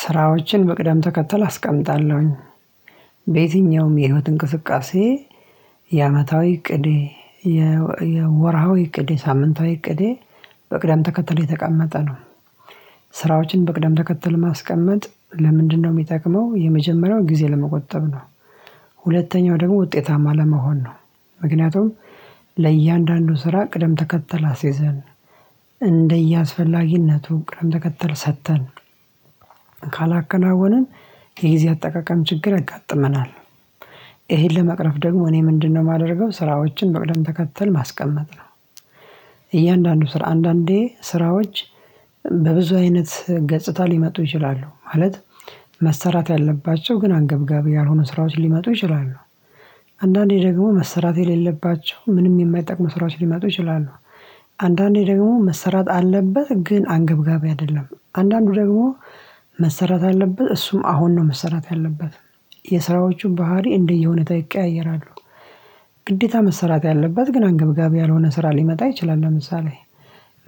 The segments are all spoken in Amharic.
ስራዎችን በቅደም ተከተል አስቀምጣለሁኝ በየትኛውም የህይወት እንቅስቃሴ የአመታዊ እቅዴ የወርሃዊ እቅዴ ሳምንታዊ እቅዴ በቅደም ተከተለ የተቀመጠ ነው። ስራዎችን በቅዳም ተከተል ማስቀመጥ ለምንድነው? የሚጠቅመው የመጀመሪያው ጊዜ ለመቆጠብ ነው። ሁለተኛው ደግሞ ውጤታማ ለመሆን ነው። ምክንያቱም ለእያንዳንዱ ስራ ቅደም ተከተል አስይዘን እንደየአስፈላጊነቱ ቅደም ተከተል ሰጥተን ካላከናወነን የጊዜ አጠቃቀም ችግር ያጋጥመናል። ይሄን ለመቅረፍ ደግሞ እኔ ምንድነው? የማደርገው ስራዎችን በቅደም ተከተል ማስቀመጥ ነው። እያንዳንዱ ስራ አንዳንዴ ስራዎች በብዙ አይነት ገጽታ ሊመጡ ይችላሉ ማለት መሰራት ያለባቸው ግን አንገብጋቢ ያልሆኑ ስራዎች ሊመጡ ይችላሉ። አንዳንዴ ደግሞ መሰራት የሌለባቸው ምንም የማይጠቅም ስራዎች ሊመጡ ይችላሉ። አንዳንዴ ደግሞ መሰራት አለበት ግን አንገብጋቢ አይደለም አንዳንዱ ደግሞ መሰራት አለበት እሱም አሁን ነው መሰራት ያለበት የስራዎቹ ባህሪ እንደ የሁኔታው ይቀያየራሉ። ግዴታ መሰራት ያለበት ግን አንገብጋቢ ያልሆነ ስራ ሊመጣ ይችላል ለምሳሌ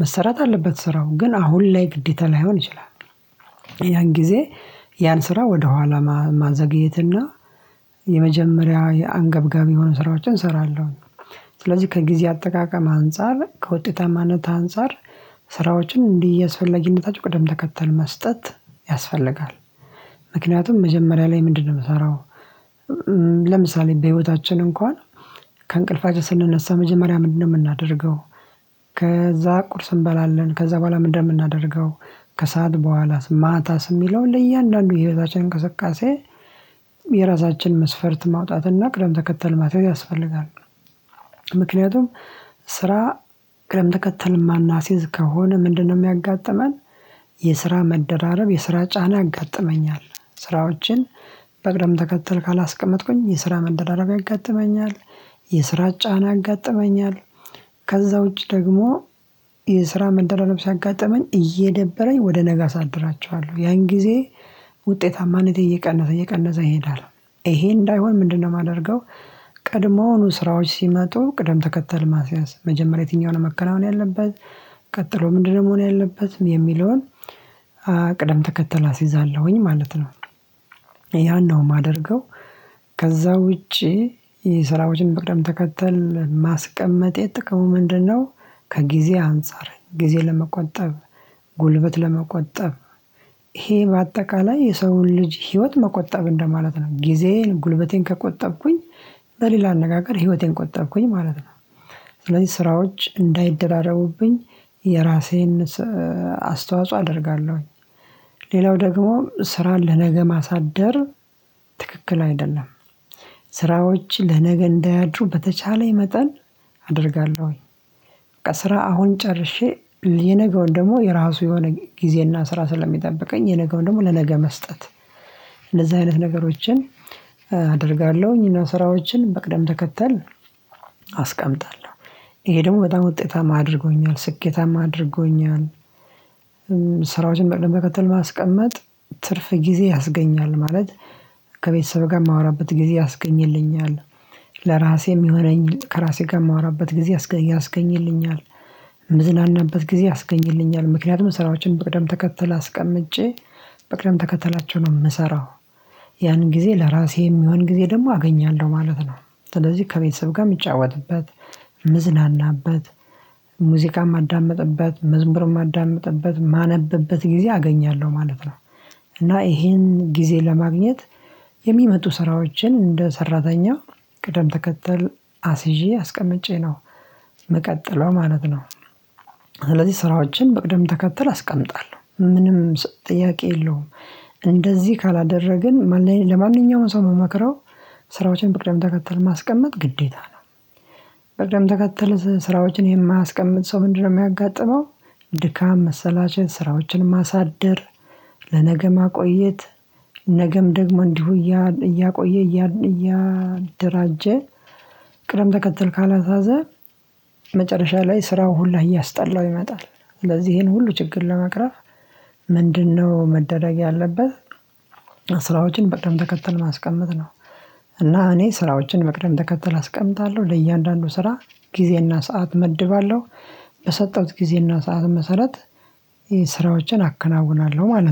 መሰራት አለበት ስራው ግን አሁን ላይ ግዴታ ላይሆን ይችላል። ያን ጊዜ ያን ስራ ወደ ኋላ ማዘግየትና የመጀመሪያ የአንገብጋቢ የሆኑ ስራዎችን እሰራለሁ። ስለዚህ ከጊዜ አጠቃቀም አንፃር ከውጤታማነት አንፃር ስራዎችን እንደየአስፈለጊነታቸው ቅደም ተከተል መስጠት ያስፈልጋል። ምክንያቱም መጀመሪያ ላይ ምንድነው? የምሰራው ለምሳሌ በህይወታችን እንኳን ከእንቅልፋችን ስንነሳ መጀመሪያ ምንድነው የምናደርገው? ከዛ ቁርስ እንበላለን ከዛ በኋላ ምንድነው የምናደርገው? ከሰአት በኋላስ ማታስ የሚለውን ለእያንዳንዱ የህይወታችን እንቅስቃሴ። የራሳችን መስፈርት ማውጣት እና ቅደም ተከተል ማስያዝ ያስፈልጋል። ምክንያቱም ስራ ግለም ተከተል የማናስይዝ ከሆነ ምንድነው? የሚያጋጥመን የስራ መደራረብ የስራ ጫና ያጋጥመኛል። ስራዎችን በቅደም ተከትል ካላስቀመጥኩኝ የስራ መደራረብ ያጋጥመኛል። የስራ ጫና ያጋጥመኛል። ከዛ ውጪ ደግሞ የስራ መደራረብ ሲያጋጥመኝ እየደበረኝ ወደ ነገ አሳድራቸዋለሁ ያን ጊዜ ውጤታማነቴ እየቀነሰ እየቀነዘ ይሄዳል። ይሄ እንዳይሆን ምንድነው? የማደርገው ቀድሞኑ ስራዎች ሲመጡ ቅደም ተከተል ማስያዝ መጀመሪያ የትኛውን መከናወን ያለበት ቀጥሎ ምንድነው መሆን ያለበት የሚለውን። ቅደም ተከተል አስይዛለሁኝ ማለት ነው። ያን ነው የማደርገው። ከዛ ውጪ የስራዎችን በቅደም ተከተል ማስቀመጤ ጥቅሙ ምንድነው? ከጊዜ አንፃር ጊዜ ለመቆጠብ ጉልበት ለመቆጠብ ይሄ በአጠቃላይ የሰውን ልጅ ህይወት መቆጠብ እንደማለት ነው። ጊዜን ጉልበቴን ከቆጠብኩኝ በሌላ አነጋገር ህይወቴን ቆጠብኩኝ ማለት ነው። ስለዚህ ስራዎች እንዳይደራደሩብኝ የራሴን አስተዋጽኦ አደርጋለሁኝ። ሌላው ደግሞ ስራን ለነገ ማሳደር ትክክል አይደለም። ስራዎች ለነገ እንዳያድሩ በተቻለኝ መጠን አደርጋለሁ ወይ በቃ ስራ አሁን ጨርሼ የነገውን ደግሞ የራሱ የሆነ ጊዜና ስራ ስለሚጠብቀኝ የነገውን ደግሞ ለነገ መስጠት። እንደዚህ አይነት ነገሮችን አደርጋለሁኝ እና ስራዎችን በቅደም ተከተል አስቀምጣለሁ ይሄ ደግሞ በጣም ውጤታማ አድርጎኛል ስኬታማ አድርጎኛል። ስራዎችን መከተል ማስቀመጥ ትርፍ ጊዜ ያስገኛል ማለት ከቤተሰብ ጋር የማወራበት ጊዜ ያስገኝልኛል። ለራሴ የሚሆነኝ ከራሴ ጋር የማወራበት ጊዜ ያስገኝልኛል። የምዝናናበት ጊዜ ያስገኝልኛል ምክንያቱም ስራዎችን በቅደም ተከተል አስቀምጬ በቅደም ተከተላቸው ነው የምሰራው። ያን ጊዜ ለራሴ የሚሆን ጊዜ ደግሞ አገኛለሁ ማለት ነው። ስለዚህ ከቤተሰብ ጋር የምጫወትበት ምዝናናበት ሙዚቃም ማዳምጥበት መዝሙርም ማዳምጥበት ማነብበት ጊዜ አገኛለሁ ማለት ነው። እና ይሄን ጊዜ ለማግኘት የሚመጡ ስራዎችን እንደ ሰራተኛ ቅደም ተከተል አስይዤ አስቀምጨ ነው። ምቀጥለው ማለት ነው። ስለዚህ ስራዎችን በቅደም ተከተል አስቀምጣለሁ ምንም ጥያቄ የለውም። እንደዚህ ካላደረግን ለማንኛውም ሰው የምመክረው ስራዎችን በቅደም ተከተል ማስቀመጥ ግዴታ ነው። በቅደም ተከተል ስራዎችን የማያስቀምጥ ሰው ምንድነው? የሚያጋጥመው ድካም መሰላቸት ስራዎችን ማሳደር ለነገ ማቆየት ነገም ደግሞ እንዲሁ እያቆየ እያደራጀ። ቅደም ተከትል ካላሳዘ መጨረሻ ላይ ስራው ሁላ እያስጠላው ይመጣል። ስለዚህ ይሄን ሁሉ ችግር ለመቅረፍ ምንድነው? መደረግ ያለበት ስራዎችን በቅደም ተከተል ማስቀመጥ ነው። እና እኔ ስራዎችን በቅደም ተከተል አስቀምጣለሁ ለእያንዳንዱ ስራ ጊዜና ሰዓት እመድባለሁ። በሰጠሁት ጊዜና ሰዓት መሰረት ይሄን ስራዎችን አከናውናለሁ ማለት ነው